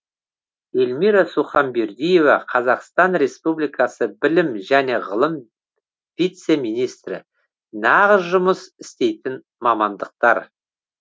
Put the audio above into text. эльмира суханбердиева қазақстан республикасы білім және ғылым вице министрі нағыз жұмыс істейтін мамандықтар